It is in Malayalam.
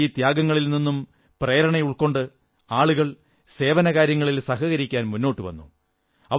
അവരുടെ ഈ ത്യാഗത്തിൽ നിന്നും പ്രേരണയുൾക്കൊണ്ട് ആളുകൾ സേവനകാര്യങ്ങളിൽ സഹകരിക്കാൻ മുന്നോട്ടു വന്നു